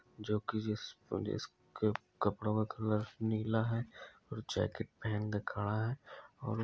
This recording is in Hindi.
जोकी जिस-जिसके के कपड़ो में कपड़ो का कलर नीला है या जेकेट पहन के खड़ा है।